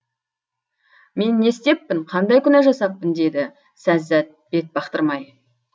мен не істеппін қандай күнәжасаппын деді сәззәт бетбақтырмай